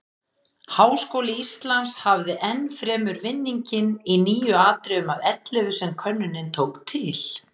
Háskóli Íslands hafði enn fremur vinninginn í níu atriðum af ellefu sem könnunin tók til.